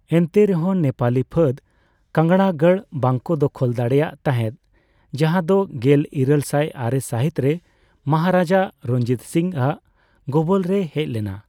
ᱮᱱᱛᱮ ᱨᱮᱦᱚᱸ, ᱱᱮᱯᱟᱞᱤ ᱯᱷᱟᱹᱫ ᱠᱟᱝᱲᱟᱜᱟᱲ ᱵᱟᱝᱠᱚ ᱫᱚᱠᱷᱚᱞ ᱫᱟᱲᱮᱹᱭᱟᱜ ᱛᱟᱦᱮᱸᱫ, ᱡᱟᱦᱟᱸ ᱫᱚ ᱜᱮᱞ ᱤᱨᱟᱹᱞ ᱥᱟᱭ ᱟᱨᱮ ᱥᱟᱹᱦᱤᱛ ᱨᱮ ᱢᱚᱦᱟᱨᱟᱡᱟ ᱨᱚᱧᱡᱤᱛ ᱥᱤᱝᱼᱟᱜ ᱜᱚᱵᱚᱞ ᱨᱮ ᱦᱮᱡᱞᱮᱱᱟ᱾